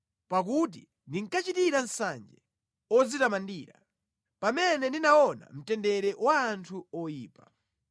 Pakuti ndinkachitira nsanje odzitamandira, pamene ndinaona mtendere wa anthu oyipa.